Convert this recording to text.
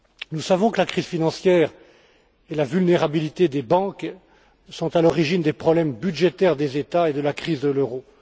Nous savons que la crise financière et la vulnérabilité des banques sont à l'origine des problèmes budgétaires des États et de la crise de l'euro.